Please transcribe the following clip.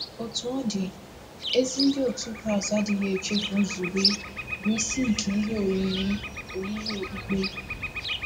Otú ọ dị, ezi Ndị otu Kraịst adịghị echefu nzube bụ́ isi nke ihe oyiyi oyiyi okpukpe.